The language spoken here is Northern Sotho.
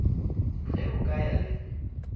ge o ka ya le